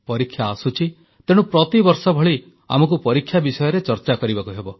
ପରୀକ୍ଷା ଆସୁଛି ତେଣୁ ପ୍ରତିବର୍ଷ ଭଳି ଆମକୁ ପରୀକ୍ଷା ବିଷୟରେ ଚର୍ଚ୍ଚା କରିବାକୁ ହେବ